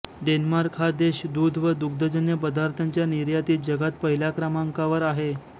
Denmark हा देश दूध व दूग्धजन्य पदार्थांच्या निर्यातीत जगात पहिल्या क्रमांकावर आहे